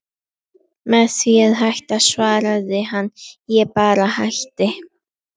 Með því að hætta, svaraði hann: Ég bara hætti.